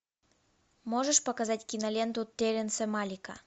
можешь показать киноленту терренса малика